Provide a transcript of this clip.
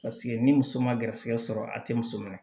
Paseke ni muso ma garisigɛ sɔrɔ a tɛ muso minɛ